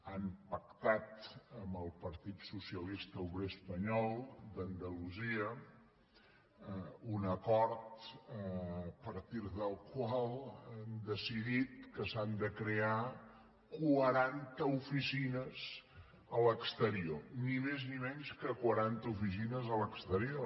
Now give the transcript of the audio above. han pactat amb el partit socialista obrer espanyol d’andalusia un acord a partir del qual han decidit que s’han de crear quaranta oficines a l’exterior ni més ni menys que quaranta oficines a l’exterior